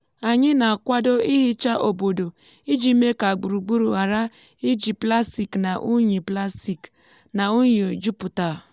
anyị na-akwado nhicha obodo iji mee ka gburugburu ghara iji plastik na unyi plastik na unyi jupụta.